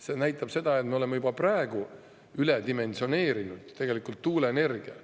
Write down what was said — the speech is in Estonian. See näitab seda, et me oleme tuuleenergia juba praegu tegelikult üledimensioneerinud.